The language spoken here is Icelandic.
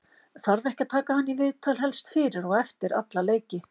þarf ekki að taka hann í viðtal helst fyrir og eftir alla leiki?